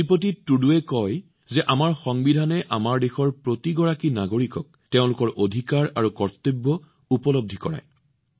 শ্ৰীপতি টুডুজীয়ে কয় যে আমাৰ সংবিধানে আমাৰ দেশৰ প্ৰতিজন নাগৰিকক তেওঁলোকৰ অধিকাৰ আৰু কৰ্তব্য উপলব্ধি কৰায়